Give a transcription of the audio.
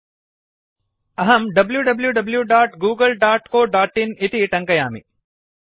अहं wwwgooglecoin इति टङ्कयामि